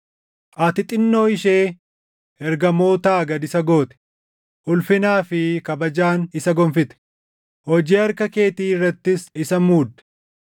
Ati xinnoo ishee ergamootaa gad isa goote; ulfinaa fi kabajaan isa gonfite; // hojii harka keetii irrattis isa muudde.